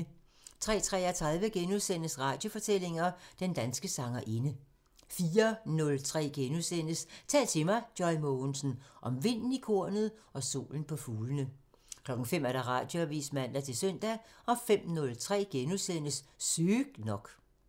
03:33: Radiofortællinger: Den danske sangerinde * 04:03: Tal til mig – Joy Mogensen: Om vinden i kornet og solen på fuglene * 05:00: Radioavisen (man-søn) 05:03: Sygt nok *(man)